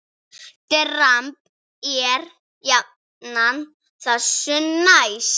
Dramb er jafnan þessu næst.